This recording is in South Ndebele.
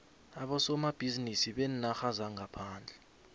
abosomabhizinisi beenarha zangaphandle